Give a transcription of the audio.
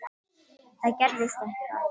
Það gerðist eitthvað.